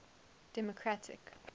democratic